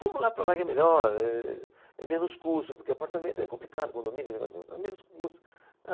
Vamos lá para lá que é melhor, ehh, é menos custo, porque apartamento é complicado, condomínio, negócio, é menos custo.